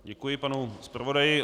Děkuji panu zpravodaji.